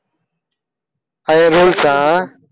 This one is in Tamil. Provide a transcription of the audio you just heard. அது rules ஆ